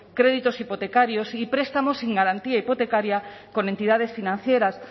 créditos hipotecarios y prestamos sin garantía hipotecaria con entidades financieras